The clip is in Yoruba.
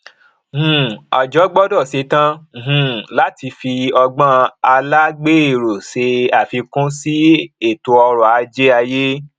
um àjọ gbọdọ ṣetan um láti fi ọgbọn alágberó ṣe àfikún sí ètòọrọ ajé ayé